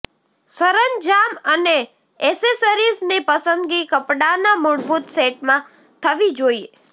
સરંજામ અને એસેસરીઝની પસંદગી કપડાંના મૂળભૂત સેટમાં થવી જોઈએ